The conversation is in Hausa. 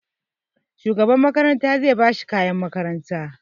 Shugaban makaranta zai ba shi kayan makaranta.